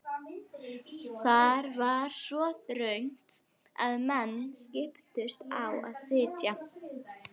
Þar var svo þröngt að menn skiptust á að sitja.